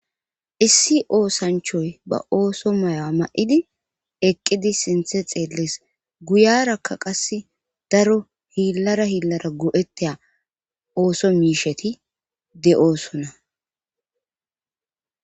issi oosanchoy ba ooso mayo ma7idi eqqidi sinthe xeelles guyarakka qasse daro hiillara hiillara go7ettaa ooso miisheti de7oosona